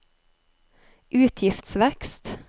utgiftsvekst